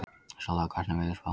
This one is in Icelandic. Solla, hvernig er veðurspáin?